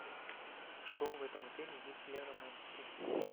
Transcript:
что в этом отеле есть для романтики